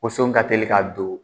Woson ka telin ka don